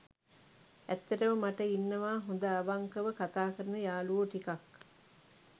ඇත්තටම මට ඉන්නවා හොඳ අවංකව කතා කරන යාළුවෝ ටිකක්.